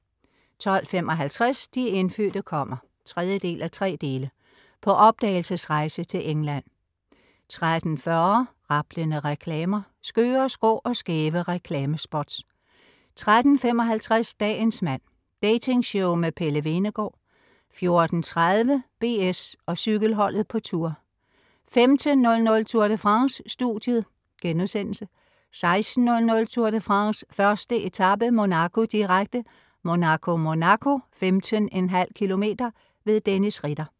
12.55 De indfødte kommer! 3:3. På opdagelsesrejse til England 13.40 Rablende reklamer. Skøre, skrå og skæve reklamespots 13.55 Dagens mand. Dating-show med Pelle Hvenegaard 14.30 BS og cykelholdet på Tour 15.00 Tour de France: Studiet* 16.00 Tour de France: 1. etape, Monaco, direkte. Monaco-Monaco, 15,5 km. Dennis Ritter